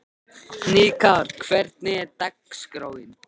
Hnikarr, hvernig er dagskráin?